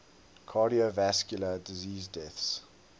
cardiovascular disease deaths